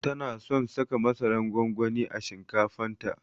Tana son saka masaran gwangwani a shinkafan ta